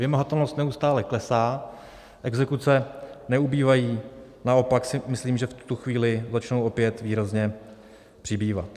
Vymahatelnost neustále klesá, exekuce neubývají, naopak si myslím, že v tuto chvíli začnou opět výrazně přibývat.